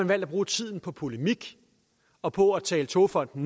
man at bruge tiden på polemik og på at tale togfonden